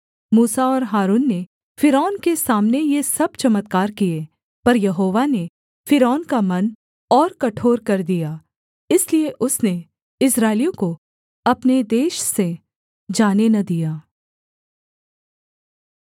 मूसा और हारून ने फ़िरौन के सामने ये सब चमत्कार किए पर यहोवा ने फ़िरौन का मन और कठोर कर दिया इसलिए उसने इस्राएलियों को अपने देश से जाने न दिया